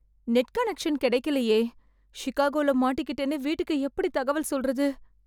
Net connection கெடைக்கலயே... சிக்காகோல மாட்டிக்கிட்டேன்னு வீட்டுக்கு எப்படி தகவல் சொல்றது?